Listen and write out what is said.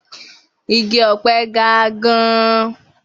Igi ọ̀pẹ ga gan-an.